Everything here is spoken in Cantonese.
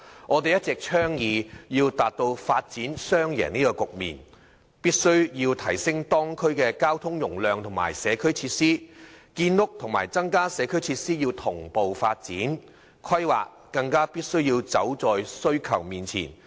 我們一直倡議要達到發展雙贏的局面，必須提升地區交通容量及社區設施，建屋和增加社區設施同步發展，規劃更必須走在需求前面。